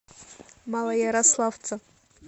малоярославца